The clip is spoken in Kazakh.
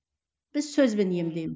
біз сөзбен